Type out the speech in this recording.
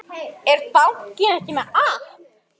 Er bankinn ekki með app?